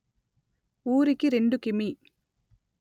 ఊరికి రెండు కిిమి